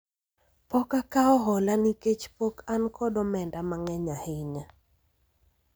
pok akawo hola nikech pok an kod omenda mang'eny ahinya